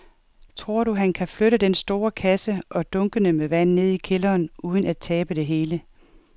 Tror du, at han kan flytte den store kasse og dunkene med vand ned i kælderen uden at tabe det hele?